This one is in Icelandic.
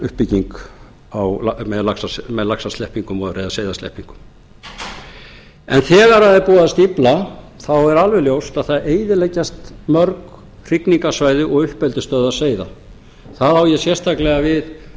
ám á suðurlandi þar sem hefur verið mikil uppbygging með seiðasleppingum þegar er búið að stífla er alveg ljóst að það eyðileggjast mörg hrygningarsvæði og uppeldisstöðvar seiða þar á ég sérstaklega við